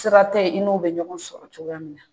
Sira tɛ ye i n'u bɛ ɲɔgɔn sɔrɔ cogoya min na